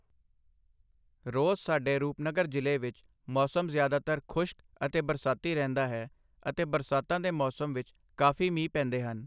ਰੋਜ਼ ਸਾਡੇ ਰੂਪਨਗਰ ਜ਼ਿਲ੍ਹੇ ਵਿੱਚ ਮੌਸਮ ਜ਼ਿਆਦਾਤਰ ਖੁਸ਼ਕ ਅਤੇ ਬਰਸਾਤੀ ਰਹਿੰਦਾ ਹੈ ਅਤੇ ਬਰਸਾਤਾਂ ਦੇ ਮੌਸਮ ਵਿੱਚ ਕਾਫ਼ੀ ਮੀਂਹ ਪੈਂਦੇ ਹਨ।